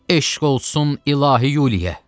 Eşq olsun İlahi Yuliyə.